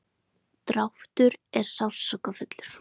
dráttur er sársaukafullur.